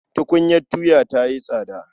Tukunyar tuya ta yi tsada.